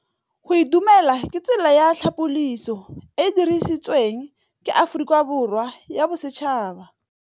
Go itumela ke tsela ya tlhapolisô e e dirisitsweng ke Aforika Borwa ya Bosetšhaba.